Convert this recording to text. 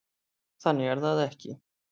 Þannig er það ekki.